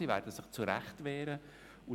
Sie werden sich zu Recht wehren.